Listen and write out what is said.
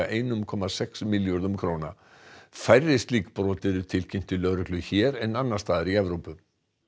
einum komma sex milljörðum króna færri slík brot eru tilkynnt til lögreglu hér en annars staðar í Evrópu